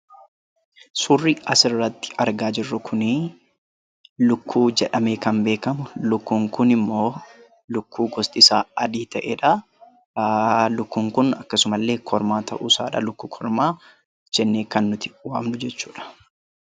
Suurri asirratti argaa jirru kuni lukkuu jedhamee kan beekamu. Lukkuun kun immoo lukkuu gostisaa adii ta'edha. Lukkuun kun akkasuma illee kormaa ta'uusaadha; lukkuu kormaa jennee kan nuti waamnu jechuudha.